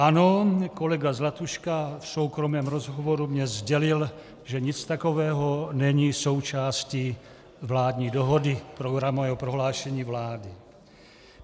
Ano, kolega Zlatuška v soukromém rozhovoru dnes sdělil, že nic takového není součástí vládní dohody, programového prohlášení vlády.